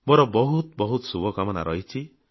ମୋର ବହୁତ ଶୁଭକାମନା ରହିଛି